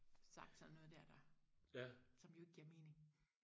sagt sådan noget der der som jo ikke giver mening